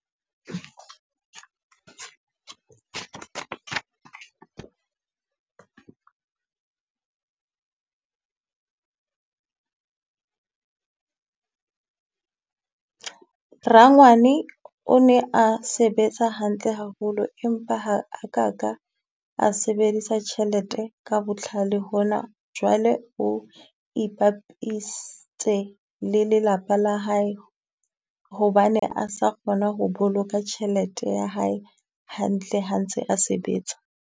Rangwane o ne a sebetsa hantle haholo empa ha a ka ka a sebedisa tjhelete ka botlhale hona. Jwale o ipapistse le lelapa la hae hobane a sa kgona ho boloka tjhelete ya hae hantle ha ntse a sebetsa.